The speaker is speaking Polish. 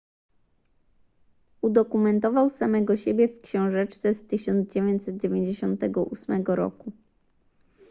udokumentował samego siebie w książeczce z 1998 r